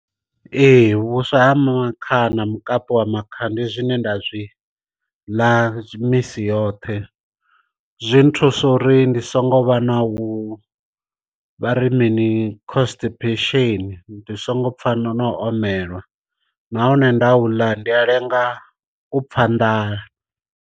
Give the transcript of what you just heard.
Ee vhuswa ha makha na mukapi wa makha ndi zwine nda zwi ḽa misi yoṱhe, zwi nthusa uri ndi songo vha na u vhari mini constipation ndi songo pfha na na omelwa, nahone nda u ḽa ndi a lenga u pfha nḓala.